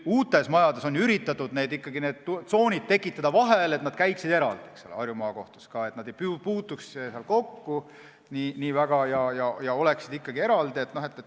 Uutes majades on üritatud ikkagi tsoonid vahele tekitada, et nad oleksid eraldi, Harju Maakohtus ka, et nad ei puutuks nii väga kokku ja oleksid eraldi.